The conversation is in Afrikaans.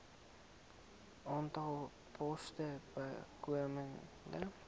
aantal poste bykomend